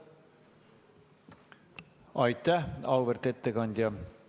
Aitäh, auväärt ettekandja!